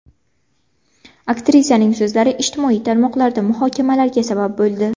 Aktrisaning so‘zlari ijtimoiy tarmoqlarda muhokamalarga sabab bo‘ldi.